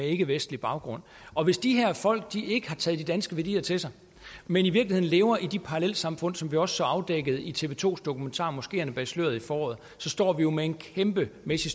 ikkevestlig baggrund og hvis de her folk ikke har taget de danske værdier til sig men i virkeligheden lever i de parallelsamfund som vi også så afdækket i tv to dokumentar moskeerne bag sløret i foråret så står vi jo med en kæmpemæssig